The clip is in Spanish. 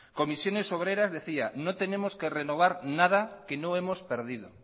comisiones obreras decía no tenemos que renovar nada que no hemos perdido